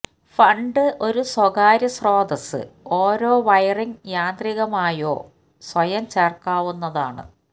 fund ഒരു സ്വകാര്യ സ്രോതസ്സ് ഓരോ വയറിങ് യാന്ത്രികമായോ സ്വയം ചേർക്കാവുന്നതാണ്